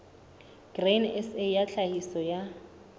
grain sa ya tlhahiso ya